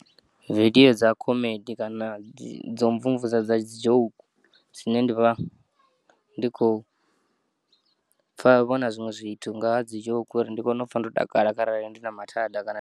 Vidiyo dza khomedi kana dzomvumvusa dza dzijoke dzine ndivha ndi khopfa vhona zwiṅwe zwithu ngaha dzi joke uri ndi kone upfa ndo takala arali ndina mathada kana.